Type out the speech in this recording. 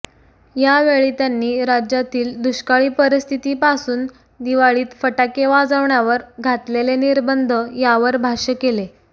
यावेळी त्यांनी राज्यातील दुष्काळी परिस्थितीपासून दिवाळीत फटाके वाजवण्यावर घातलेले निर्बंध यावर भाष्य केले